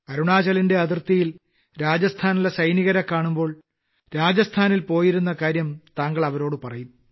അരുണാചലിന്റെ അതിർത്തിയിൽ രാജസ്ഥാനിലെ സൈനികരെ കാണുമ്പോൾ രാജസ്ഥാനിൽ പോയ കാര്യം താങ്കൾ അവരോട് പറയും